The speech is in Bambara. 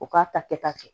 U k'a ta kɛ ta kɛ